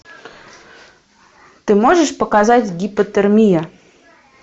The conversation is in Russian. ты можешь показать гипотермия